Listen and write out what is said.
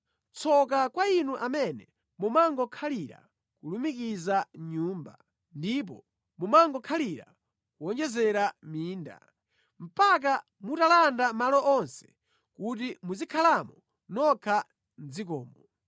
Tsoka kwa inu amene mumangokhalira kulumikiza nyumba, ndipo mumangokhalira kuwonjezera minda, mpaka mutalanda malo onse kuti muzikhalamo nokha mʼdzikomo.